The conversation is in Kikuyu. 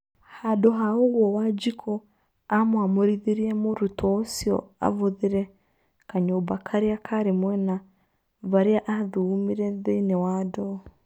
Handũ ha ũguo Wanjiku amwamurithirie mũrutwo ũcio avuthĩre kanyũmba karĩa kaarĩ mwena varĩa athugumire thĩini wa ndoo